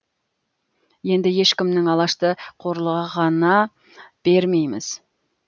енді ешкімнің алашты қорлығына бермейміз